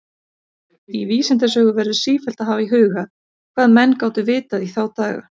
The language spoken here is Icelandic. Í vísindasögu verður sífellt að hafa í huga, hvað menn gátu vitað í þá daga.